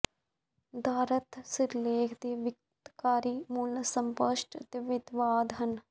ਦਾਰਥ ਸਿਰਲੇਖ ਦੇ ਵਿਉਂਤਕਾਰੀ ਮੂਲ ਅਸਪਸ਼ਟ ਅਤੇ ਵਿਵਾਦ ਹਨ